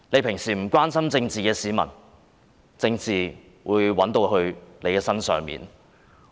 平日不關心政治的市民，政治也會找上你。